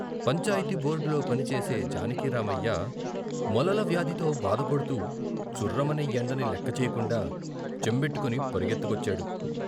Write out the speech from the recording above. పంచాయితీ బోర్డులో పనిచేసే జానకిరామయ్య, మొలల వ్యాధితో బాధ పడుతూ చుర్రమనే ఎండని లెక్కచెయ్యకుండా చెంబెట్టుకొని పరిగెత్తుకొచ్చాడు.